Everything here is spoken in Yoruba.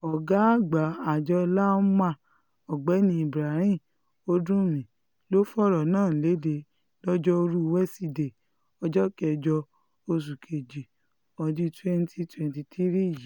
ọ̀gá àgbà àjọ lawma ọ̀gbẹ́ni ibrahim oduḿḿí ló fọ̀rọ̀ náà lédè lọ́jọ́rùú wesidee ọjọ́ kẹjọ oṣù kejì ọdún twenty twenty three yìí